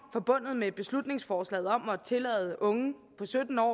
forbundet med beslutningsforslaget om at tillade unge på sytten år